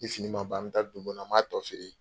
Ni fini ma ban, an bɛ taa dugu kɔnɔ, an b'a tɔ feere.